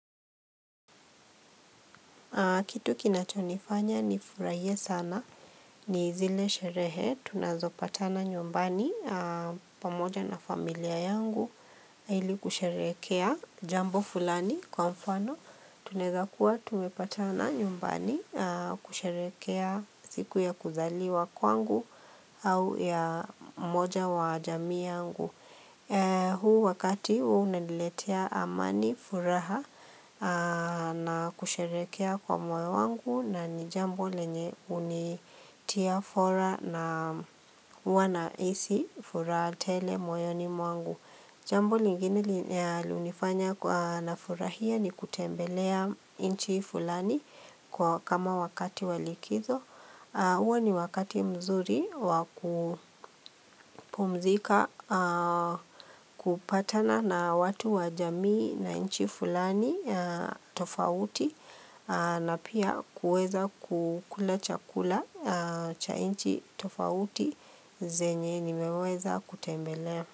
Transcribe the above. Kitu kinachonifanya ni furahie sana ni zile sherehe tunazo patana nyumbani pamoja na familia yangu ili kusherehekea jambo fulani kwa mfano tunawezakua tumepatana nyumbani kusherehekea siku ya kuzaliwa kwangu au ya moja wa jamii yangu. Huu wakati huwa unaniletia amani furaha na kusherehekea kwa mwoyo wangu na ni jambo lenye hunitia fora na huwa na hisi furaha tele moyoni mwangu. Jambo lingine hunifanya nafurahia ni kutembelea nchi fulani kama wakati walikizo. hUo ni wakati mzuri wakupumzika kupatana na watu wajamii na nchi fulani tofauti na pia kueza kukula chakula cha inchi tofauti zenye nimeweza kutembelea.